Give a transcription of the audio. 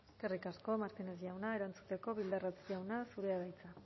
eskerrik asko martínez jauna erantzuteko bildarratz jauna zurea da hitza